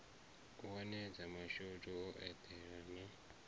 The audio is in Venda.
wanedza mashudu o eḓela na